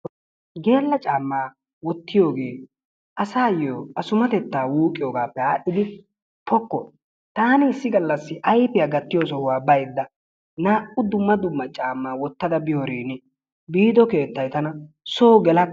Geela caamaa wottiyogee asaayo assumatettaa wuuqiyogaappe aadhdhidi poko taani issi galla ayfiya gatiyo sohuwa baydda naa''u dumma dumma camaa wutada biyorin biido kleettay tana soo gelakka